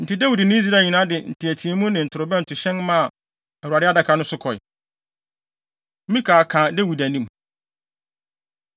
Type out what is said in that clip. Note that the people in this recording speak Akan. Enti Dawid ne Israel nyinaa de nteɛteɛmu ne ntorobɛntohyɛn maa Awurade Adaka no so kɔe. Mikal Ka Dawid Anim